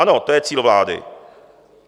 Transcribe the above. Ano, to je cíl vlády.